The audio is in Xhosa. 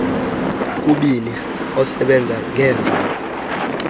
kubini osebenza ngeenjogo